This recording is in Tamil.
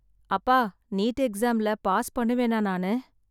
அப்பா நீட் எக்ஸாம்ல பாஸ் பண்ணுவேனா நானு?